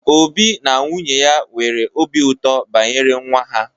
Obi na nwunye ya nwere obi ụtọ banyere nwa ha.